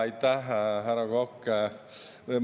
Aitäh, härra Kokk!